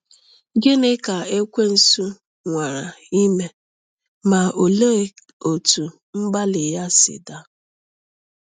Gịnị ka ekwensu nwara ime, ma olee otú mgbalị ya si daa?